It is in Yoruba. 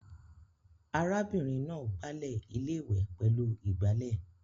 Ará bìnrin náà gbalẹ́ iléwẹ̀ pẹ̀lú igbálẹ̀